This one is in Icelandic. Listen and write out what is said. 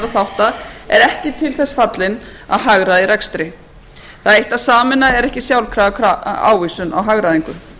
þátta er ekki til þess fallin að hagræða í rekstri það eitt að sameina er ekki sjálfkrafa ávísun á hagræðingu fjármálaráðuneytið